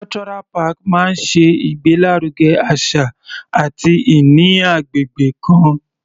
Cultural park máa ṣe ìgbé lárugẹ àṣà àti ìní agbègbè kan.